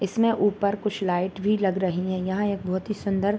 इसमें ऊपर कुछ लाइट भी लग रही हैं यहाँ एक बहुत ही सुन्दर --